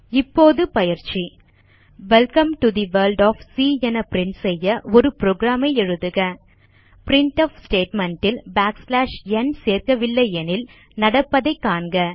இப்போது பயிற்சி welcome to the world of C என பிரின்ட் செய்ய ஒரு புரோகிராம் எழுதுக பிரின்ட்ஃப் ஸ்டேட்மெண்ட் ல் n சேர்க்கவில்லையெனில் நடப்பதை காண்க